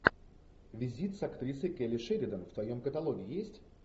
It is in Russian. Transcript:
визит с актрисой келли шеридан в твоем каталоге есть